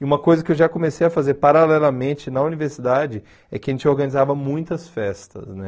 E uma coisa que eu já comecei a fazer paralelamente na universidade é que a gente organizava muitas festas, né?